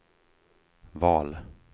val